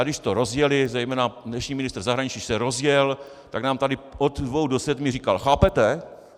A když to rozjeli, zejména dnešní ministr zahraničí když se rozjel, tak nám tady od dvou do sedmi říkal: Chápete?